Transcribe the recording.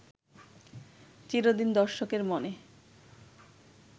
চিরদিন দর্শকের মনে